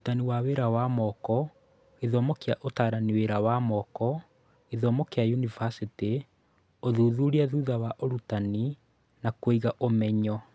Ũrũtani wa wĩra wa moko, gĩthomo kĩa Ũtaarani wĩra wa moko, gĩthomo kĩa yunivasĩtĩ, ũthuthuria thutha wa ũrutani na Kũgĩa na ũmenyo